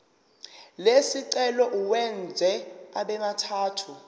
lesicelo uwenze abemathathu